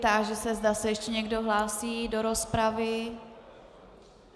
Táži se, zda se ještě někdo hlásí do rozpravy.